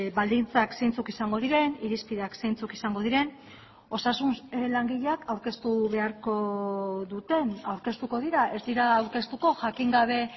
baldintzak zeintzuk izango diren irizpideak zeintzuk izango diren osasun langileak aurkeztu beharko duten aurkeztuko dira ez dira aurkeztuko jakin gabe